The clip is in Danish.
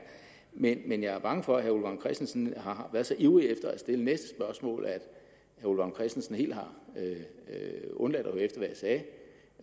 men jeg er bange for at herre ole vagn christensen har været så ivrig efter at stille næste spørgsmål at herre ole vagn christensen helt har undladt